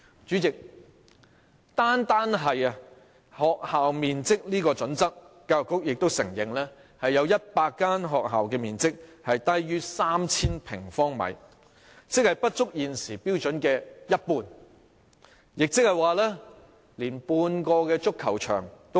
主席，單是學校面積這個準則，教育局也承認有100間學校的面積是低於 3,000 平方米，即不足現時標準的一半，也即少於半個足球場。